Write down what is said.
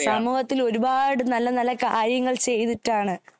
സമൂഹത്തിൽ ഒരുപാട് നല്ല നല്ല കാര്യങ്ങൾ ചെയ്തിട്ടാണ്